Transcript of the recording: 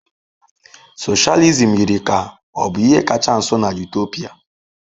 Socialism yiri ka ọ bụ ihe kacha nso na Utopia.